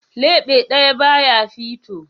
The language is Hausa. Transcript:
Leɓe ɗaya ba ya fito.